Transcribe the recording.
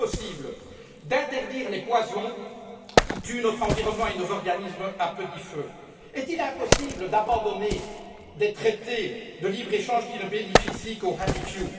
Est t il impossible d'interdire les poisons qui tuent notre environnement et nos organismes à petit feu. Est il impossible d'abandonner des traités de libre échange qui ne bénéficient qu'aux happy few